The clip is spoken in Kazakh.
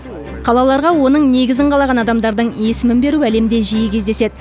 қалаларға оның негізін қалаған адамдардың есімін беру әлемде жиі кездеседі